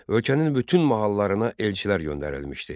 Ölkənin bütün mahallarına elçilər göndərilmişdi.